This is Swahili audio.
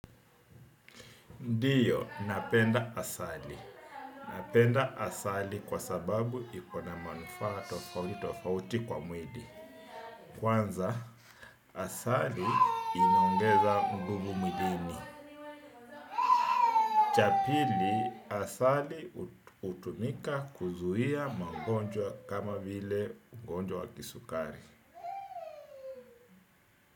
Ndio, napenda asali. Napenda asali kwa sababu iko na manufaa tofauti kwa mwili. Kwanza, asali inaongeza nguvu mwilini. Cha pili, asali hutumika kuzuia mangonjwa kama vile ugonjwa wa kisukari.